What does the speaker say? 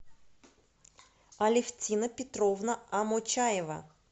алевтина петровна амочаева